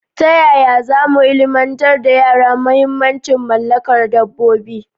Ta yaya za mu ilimantar da yara muhimmancin mallakar dabbobi?